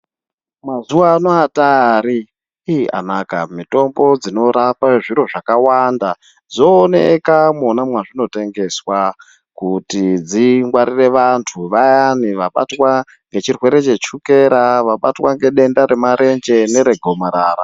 Mazuwa anaya atari ih anaka mitombo dzinorapa zviro zvakawanda dzooneka mwona mwazvinotengeswa kuti dzingwarire vantu vaya vabatwa ngechirwere chechukera vabatwa ngedenda remarenje neregomarara.